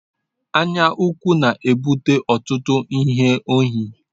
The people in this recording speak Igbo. Anyaukwu na-ebute ọtụtụ izu ohi.